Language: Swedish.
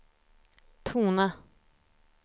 tona